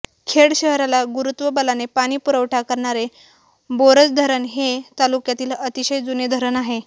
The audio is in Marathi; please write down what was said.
खेड शहराला गुरुत्वबलाने पाणी पुरवठा करणारे बोरज धरण हे तालुक्यातील अतिशय जुने धरण आहे